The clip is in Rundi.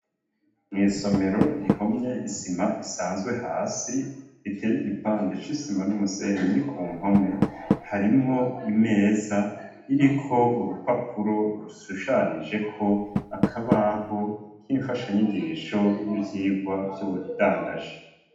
Mw'isomero rihomye isima isanzwe hasi, iteye igipande c'isima n'umusenyi ku mpome, harimwo imeza iriko urupapuro rushushanijeko akabaho k'imfashanyigisho n'ivyigwa vy'ubudandaji.